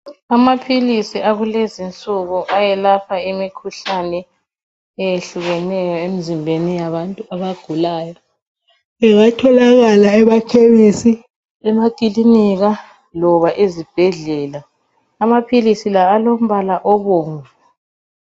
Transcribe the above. Amaphilisi akulezinsuku ayelapha imikhuhlane eyehlukeneyo emizimbeni yabantu abagulayo .Angatholakala emakhemesi emakilinika loba ezibhedlela , amaphilisi la alombala obomvu.